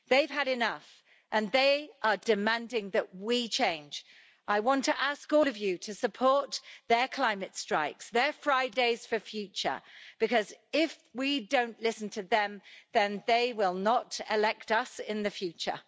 They've had enough, and they are demanding that we change. I want to ask all of you to support their climate strikes, their Friday's for future, because if we don't listen to them, then they will not elect us in the future.